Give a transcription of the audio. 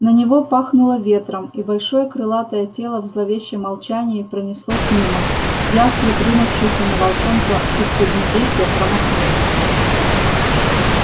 на него пахнуло ветром и большое крылатое тело в зловещем молчании пронеслось мимо ястреб ринувшийся на волчонка из поднебесья промахнулся